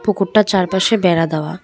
পুকুরটা চারপাশে বেড়া দেওয়া।